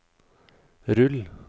rull